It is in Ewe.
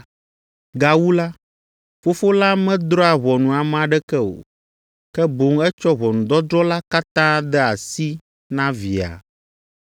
Gawu la, Fofo la medrɔ̃a ʋɔnu ame aɖeke o, ke boŋ etsɔ ʋɔnudɔdrɔ̃ la katã de asi na Via,